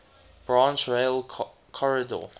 branch rail corridor